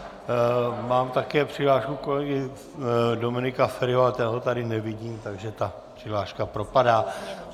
Mám také přihlášku kolegy Dominika Feriho, ale toho tady nevidím, takže ta přihláška propadá.